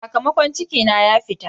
Sakamakon ciki na ya fita.